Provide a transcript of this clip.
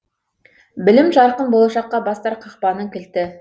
білім жарқын болашаққа бастар қақпаның кілті